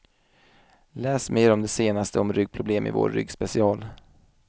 Läs mer om det senaste om ryggproblem i vår ryggspecial.